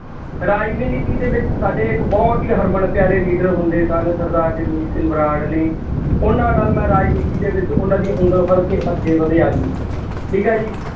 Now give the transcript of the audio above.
ਰਾਜ ਵੀ ਨੀਤੀ ਦੇ ਵਿੱਚ ਸਾਡੇ ਇੱਕ ਬਹੁਤ ਹੀ ਹਰਮਨ ਪਿਆਰੇ leader ਹੁੰਦੇ ਸਨ, ਸਰਦਾਰ ਜਗਮੀਤ ਸਿੰਘ ਬਰਾੜ ਨੇ, ਉਹਨਾ ਨਾਲ ਮੈਂ ਰਾਜਨੀਤੀ ਦੇ ਵਿੱਚ ਉਹਨਾ ਦੀ ਉਂਗਲ ਫੜ ਕੇ ਅੱਗੇ ਵਧਿਆ ਜੀ, ਠੀਕ ਹੈ ਜੀ,